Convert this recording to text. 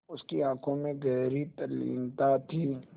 उसकी आँखों में गहरी तल्लीनता थी